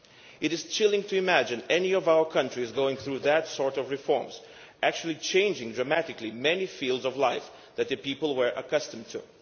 It is chilling to imagine any of our countries going through those sorts of reforms, actually changing dramatically many fields of life that people were accustomed to.